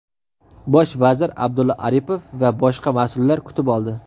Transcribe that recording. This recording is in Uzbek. Bosh vazir Abdulla Aripov va boshqa mas’ullar kutib oldi.